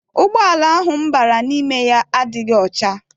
Ụgbọala ahụ m bara n'ime ya adịghị ọcha.